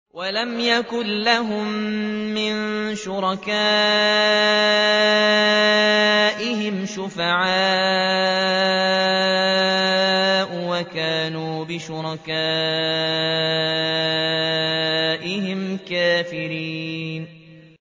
وَلَمْ يَكُن لَّهُم مِّن شُرَكَائِهِمْ شُفَعَاءُ وَكَانُوا بِشُرَكَائِهِمْ كَافِرِينَ